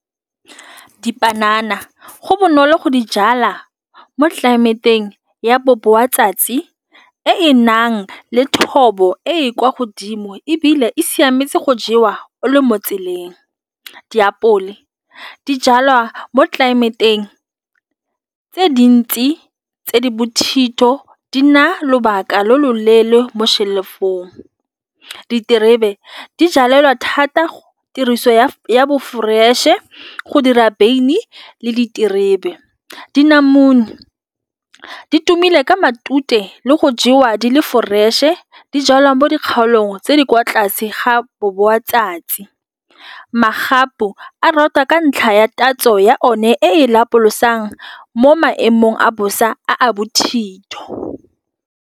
Dipanana go bonolo go di jala mo tlelaemeteng ya bo e nang le thobo e kwa godimo ebile e siametse go jewa o le mo tseleng. Diapole di jalwa mo tlelaemeteng tse dintsi tse di bothitho di nna lobaka lo loleele mo shelf-ong. Diterebe di jalelelwa thata tiriso ya bo fresh-e go dira beine le diterebe. Dilamune di tumile ka matute le go jewa di le fresh-e di jalwa mo dikgaolong tse di kwa tlase ga bo bo matsatsi. Magapu a rata ka ntlha ya tatso ya one lapolosa jang mo maemong a bosa a bothitho.